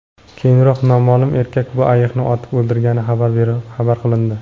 Keyinroq noma’lum erkak bu ayiqni otib o‘ldirgani xabar qilindi.